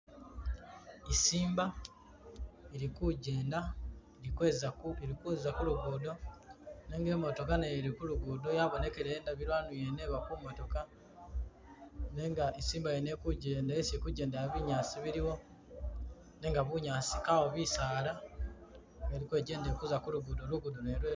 Isimba ili kujenda ili kweza ili kuza kulugudo nenga emotoka nayo ili kulugudo yabonekele indabilo ndwena eyona eba kumotoka nenga isimba yona ili kujenda, isi ili kujendera binyaasi biliwo nenga bunyaasi kawo bisaala, eli kwejenda Eli kuza kulugudo lugudo lwena